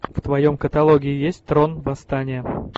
в твоем каталоге есть трон восстание